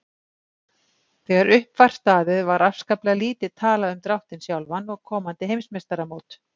Þegar upp var staðið var afskaplega lítið talað um dráttinn sjálfan og komandi heimsmeistaramót.